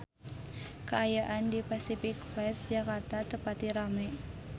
Kaayaan di Pasific Place Jakarta teu pati rame